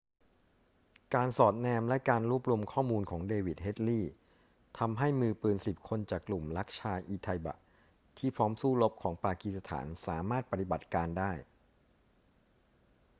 การสอดแนมและการรวบรวมข้อมูลของเดวิด เฮดลีย์ทำให้มือปืน 10 คนจากกลุ่ม laskhar-e-taiba ที่พร้อมสู้รบของปากีสถานสามารถปฏิบัติการได้